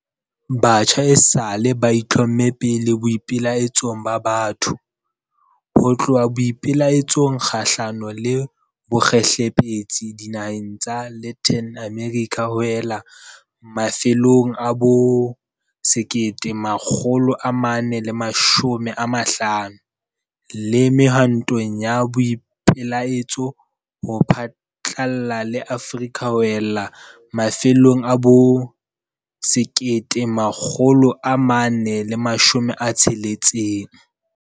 Batjha esale ba itlhomme pele boipelaetsong ba batho, ho tloha boipelaetsong kgahlano le bokgehlepetsi dinaheng tsa Latin America ho ella mafelong a bo 1950, le mehwantong ya boipelaetso ho phatlalla le Afrika ho ella mafelong a bo 1960.